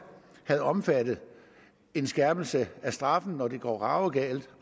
havde omfattet en skærpelse af straffen når det går ravruskende galt